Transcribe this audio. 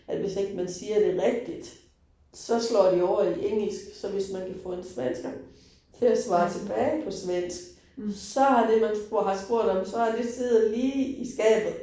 At hvis ikke man siger det rigtigt, så slår de over i engelsk, så hvis man kan få en svensker til at svare tilbage på svensk, så det man har spurgt om, så har det siddet lige i skabet